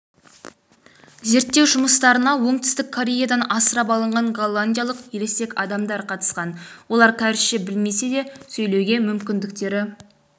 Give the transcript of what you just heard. зерттеу жұмыстарына оңтүстік кореядан асырап алынған голландиялық ересек адамдар қатысқан олар кәрісше білмесе де сөйлеуге мүмкіндіктері